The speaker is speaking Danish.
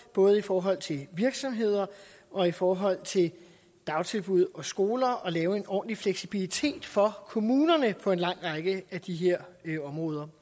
både i forhold til virksomheder og i forhold til dagtilbud og skoler og lave en ordentlig fleksibilitet for kommunerne på en lang række af de her områder